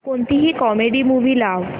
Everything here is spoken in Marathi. कोणतीही कॉमेडी मूवी लाव